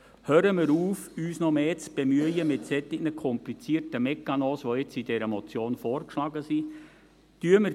Hören wir auf, uns mit solch komplizierten Prozeduren, wie sie in dieser Motion vorgeschlagen werden, noch mehr zu bemühen.